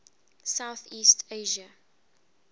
south east asia